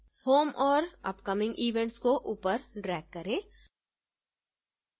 home और upcoming events को ऊपर drag करें